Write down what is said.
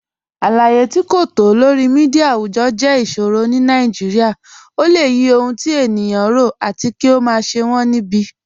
Aláyé̀ tí kò tó lọ̀rí míḍíà awùjọ́ jẹ́ ìṣòrọ̀ ní Nàìjíríà. Ọ̀ lẹ̀ yí ọhun tí ènìyàn rọ̀, àtì kí ó má ṣẹ̀ wọn níbi